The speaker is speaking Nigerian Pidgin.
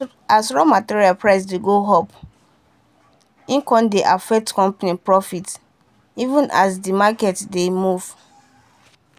as raw material price dey go upe dey affect company profit even as the market dey move.